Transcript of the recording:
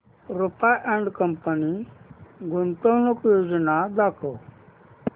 Rupa and company गुंतवणूक योजना दाखव